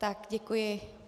Tak děkuji.